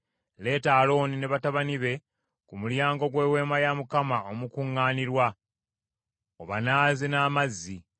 Leeta Alooni ne batabani be ku mulyango gw’Eweema ey’Okukuŋŋaanirangamu, obanaaze n’amazzi.